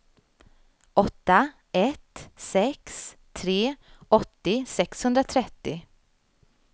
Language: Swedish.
åtta ett sex tre åttio sexhundratrettio